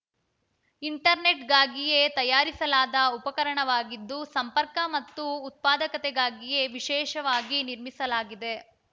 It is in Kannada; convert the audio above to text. ಇಂಟರ್‌ನೆಟ್‌ಗಾಗಿಯೇ ತಯಾರಿಸಲಾದ ಉಪಕರಣವಾಗಿದ್ದು ಸಂಪರ್ಕ ಮತ್ತು ಉತ್ಪಾದಕತೆಗಾಗಿಯೇ ವಿಶೇಷವಾಗಿ ನಿರ್ಮಿಸಲಾಗಿದೆ